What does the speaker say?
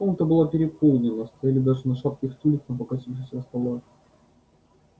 комната была переполнена стояли даже на шатких стульях на покосившихся столах